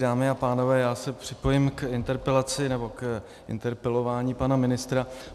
Dámy a pánové, já se připojím k interpelaci, nebo k interpelování pana ministra.